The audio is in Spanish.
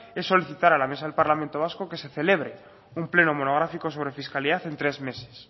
es solicitar a la mesa del parlamento vasco que se celebre un pleno monográfico sobre fiscalidad en tres meses